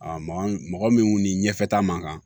mɔgɔ min ni ɲɛfɛ ta man kan